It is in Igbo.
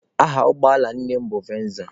Aha ụgbọala nne m nụ venza.